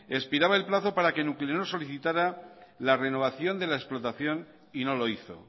expiraba el plazo para que nuclenor solicitara la renovación de la explotación y no lo hizo